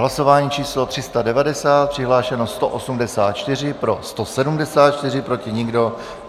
Hlasování číslo 390, přihlášeno 184, pro 174, proti nikdo.